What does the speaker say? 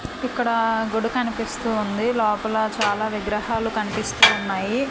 ఇక్కడ గుడి కనిపిస్తూ ఉంది లోపల చాలా విగ్రహాలు కనిపిస్తూ ఉన్నాయి.